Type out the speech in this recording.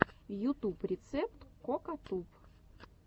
ютуб рецепт кокатуб